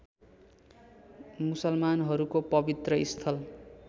मुसलमानहरूको पवित्र स्थल